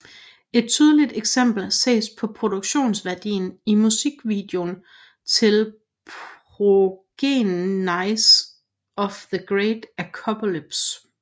Et tydeligt eksempel ses på produktionsværdien i musikvideon til Progenies of the Great Apocalypse